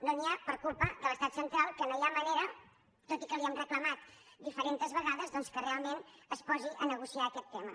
no n’hi ha per culpa de l’estat central que no hi ha manera tot i que li ho hem reclamat diferents vegades doncs que realment es posi a negociar aquest tema